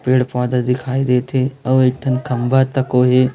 पेड़ पौधा दिखाई देते और इधर खंभा तक ओहि--